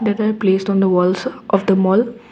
that are placed on the walls of the mall.